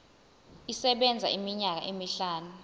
isebenza iminyaka emihlanu